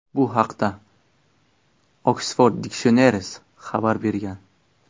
Bu haqda Oxford Dictionaries xabar bergan .